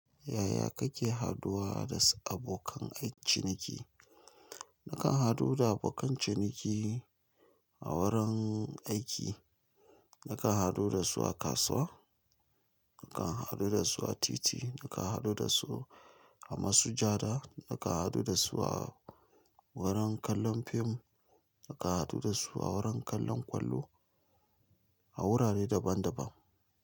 Yaya ka ke haduwa da abokan ciniki na kan hadu da abokan ciniki a wurin aiki, na kan hadu da su a kasuwa, na kan hadu da su a titi, na kan hadu da su a masujada, na kan hadu da su a wurin kallon fim, na kan hadu da su a wurin kallon kwallo a wurare daban-daban.